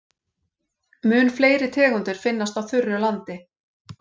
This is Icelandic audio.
Mun fleiri tegundir finnast á þurru landi.